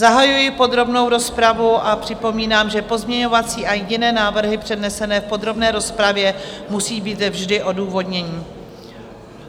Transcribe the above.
Zahajuji podrobnou rozpravu a připomínám, že pozměňovací a jiné návrhy přednesené v podrobné rozpravě musí být vždy odůvodněny.